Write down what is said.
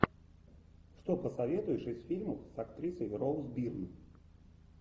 что посоветуешь из фильмов с актрисой роуз бирн